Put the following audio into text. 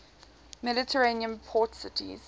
mediterranean port cities